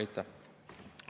Aitäh!